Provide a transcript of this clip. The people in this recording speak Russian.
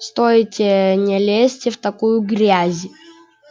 стойте не лезьте в такую грязь